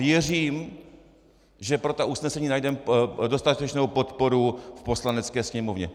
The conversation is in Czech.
Věřím, že pro ta usnesení najdeme dostatečnou podporu v Poslanecké sněmovně.